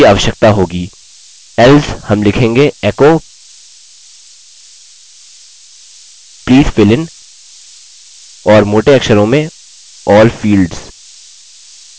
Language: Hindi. साथ ही मैं फॉर्म के पहले भी एक पैराग्राफ ब्रेक रखता हूँ जिससे कि हमारी दी गयी प्रत्येक एरर सूचना में जोड़ने की आवश्यकता न पड़े